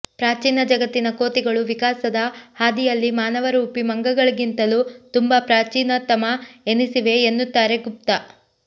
ಪ್ರಾಚೀನ ಜಗತ್ತಿನ ಕೋತಿಗಳು ವಿಕಾಸದ ಹಾದಿಯಲ್ಲಿ ಮಾನವರೂಪಿ ಮಂಗಗಳಿಗಿಂತಲೂ ತುಂಬಾ ಪ್ರಾಚೀನತಮ ಎನಿಸಿವೆ ಎನ್ನುತ್ತಾರೆ ಗುಪ್ತಾ